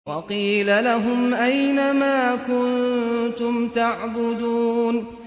وَقِيلَ لَهُمْ أَيْنَ مَا كُنتُمْ تَعْبُدُونَ